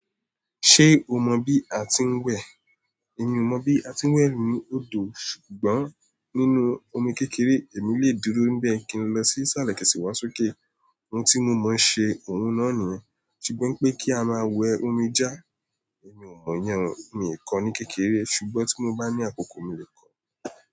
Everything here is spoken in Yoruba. Ṣé o mọ bí a ti ń wẹ? Èmi ò mọ bí a ti ń wẹ ninú odò, ṣùgbọ́n nínú omi kékeré èmi lè dúró níbẹ̀ kí n lọ sí ìsàlẹ̀ kí sì wá sókè. Ohun tí mo mọ̀ ṣe òun náà niyen, ṣùgbọ́n pé kí a máa wẹ omi já, èmi ò mọ̀ yẹnni, mi ò kọ ní kékeré ṣùgbọ́n tí mo bá ní àkókò mi lè kọ̀.